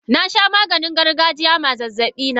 Nasha Maganin gargajiya ma zazzabina.